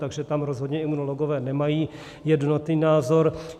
Takže tam rozhodně imunologové nemají jednotný názor.